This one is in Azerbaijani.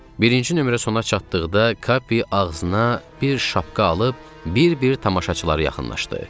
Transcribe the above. Birinci nömrə sona çatdıqda Kappi ağzına bir şapka alıb bir-bir tamaşaçılara yaxınlaşdı.